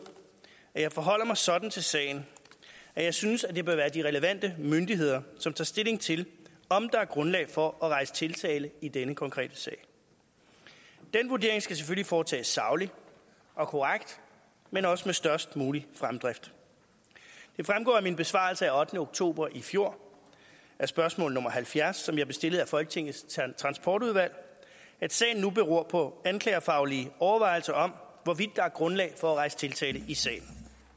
at jeg forholder mig sådan til sagen at jeg synes at det bør være de relevante myndigheder som tager stilling til om der er grundlag for at rejse tiltale i denne konkrete sag og den vurdering skal selvfølgelig foretages sagligt og korrekt men også med størst mulig fremdrift det fremgår af min besvarelse af ottende oktober i fjor af spørgsmål nummer halvfjerds som jeg blev stillet af folketingets transportudvalg at sagen nu beror på en anklagerfaglig overvejelse om hvorvidt der er grundlag for at rejse tiltale i sagen